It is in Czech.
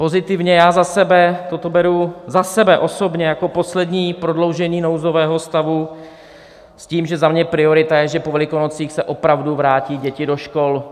Pozitivně, já za sebe toto beru, za sebe osobně, jako poslední prodloužení nouzového stavu s tím, že za mě priorita je, že po Velikonocích se opravdu vrátí děti do škol.